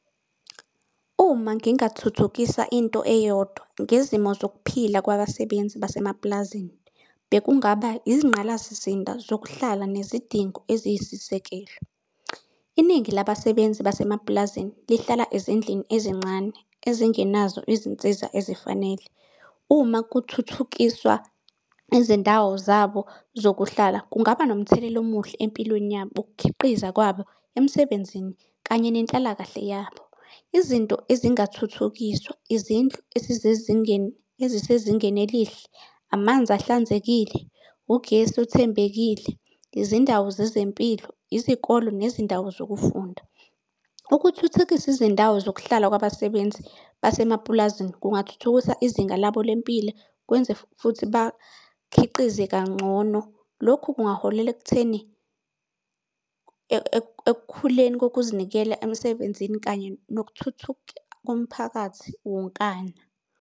Uma ngingathuthukisa into eyodwa ngezimo zokuphila kwabasebenzi basemapulazini, bekungaba izingqalasizinda zokuhlala nezidingo eziyisisekelo. Iningi labasebenzi basemapulazini lihlala ezindlini ezincane ezingenazo izinsiza ezifanele. Uma kuthuthukiswa izindawo zabo zokuhlala kungaba nomthelela omuhle empilweni yabo, ukukhiqiza kwabo emsebenzini kanye nenhlalakahle yabo. Izinto ezingathuthukiswa, izindlu ezisezingeni elihle, amanzi ahlanzekile, ugesi othembekile, izindawo zezempilo, izikole nezindawo zokufunda. Ukuthuthukisa izindawo zokuhlala kwabasebenzi basemapulazini kungathuthukisa izinga labo lempilo kwenze futhi bakhiqize kangcono. Lokhu kungaholela ekutheni ekukhuleni kokuzinikela emsebenzini kanye nokuthuthuka komphakathi wonkana.